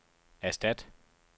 erstat